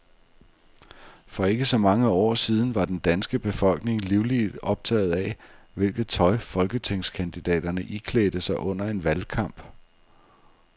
For ikke så mange år siden var den danske befolkning livligt optaget af, hvilket tøj folketingskandidaterne iklædte sig under en valgkamp.